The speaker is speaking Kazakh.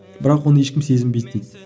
бірақ оны ешкім сезінбейді дейді